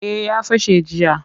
Eh ya fashe jiya